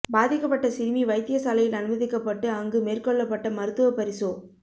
பாதிக்கப்பட்ட சிறுமி வைத்தியசாலையில் அனுமதிக்கப் பட்டு அங்கு மேற்கொள்ளப்பட்ட மருத்துவ பரிசோ